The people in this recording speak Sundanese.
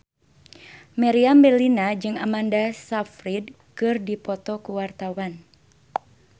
Meriam Bellina jeung Amanda Sayfried keur dipoto ku wartawan